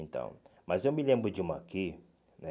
Então, mas eu me lembro de uma aqui, né?